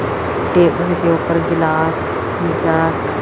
table के ऊपर गिलास जार--